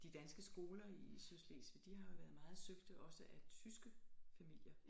De danske skoler i Sydslesvig de har jo været meget søgte også af tyske familier